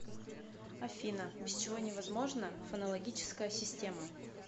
афина без чего невозможна фонологическая система